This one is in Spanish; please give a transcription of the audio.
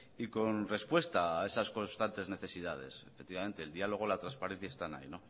y con respuesta a esas constantes necesidades efectivamente el diálogo y la transparencia están ahí